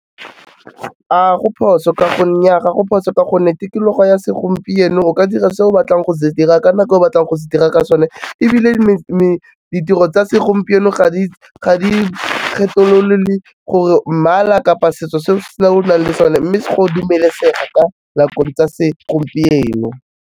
Nnyaa ga go phoso ka gonne tikologo ya segompieno o ka dira se o batlang go se dira, ka nako e o batlang go se dira ka sone, ebile ditiro tsa segompieno ga di kgetolole gore mmala kapa setso se o nang le sone, mme go dumelesega ka nakong tsa segompieno.